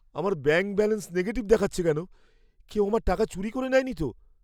আমার bank balance negative দেখাচ্ছে কেন? কেউ আমার টাকা চুরি করে নেয়নি তো?